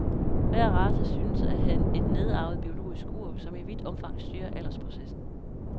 Hver race synes at have et nedarvet, biologisk ur, som i vidt omfang styrer aldersprocessen.